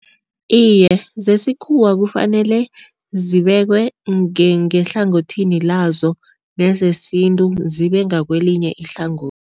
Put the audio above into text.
Iye, zesikhuwa kufanele zibekwe ngehlangothini lazo nezesintu zibengakwelinye ihlangothi.